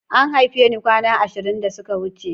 An haife ni kwana ashirin da suka wuce.